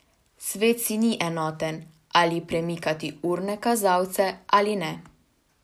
Svet si ni enoten, ali premikati urne kazalce ali ne.